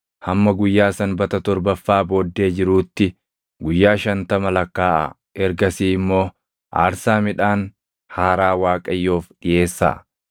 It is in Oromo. Hamma guyyaa Sanbata torbaffaa booddee jiruutti guyyaa shantama lakkaaʼaa; ergasii immoo aarsaa midhaan haaraa Waaqayyoof dhiʼeessaa.